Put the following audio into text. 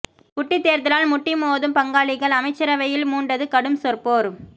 குட்டித் தேர்தலால் முட்டிமோதும் பங்காளிகள் அமைச்சரவையில் மூண்டது கடும் சொற்போர்